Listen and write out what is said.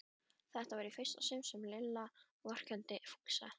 Þetta var í fyrsta sinn sem Lilla vorkenndi Fúsa.